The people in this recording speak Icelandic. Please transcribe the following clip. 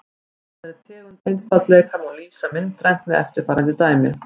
Þessari tegund einfaldleika má lýsa myndrænt með eftirfarandi dæmi.